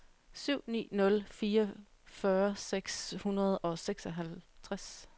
syv ni nul fire fyrre seks hundrede og seksoghalvtreds